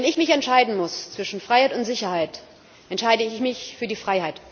Wenn ich mich entscheiden muss zwischen Freiheit und Sicherheit, entscheide ich mich für die Freiheit.